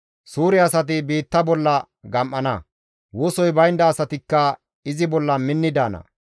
Suure asati biitta bolla gam7ana; wosoy baynda asatikka izi bolla minni daana.